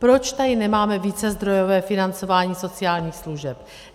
Proč tady nemáme vícezdrojové financování sociálních služeb?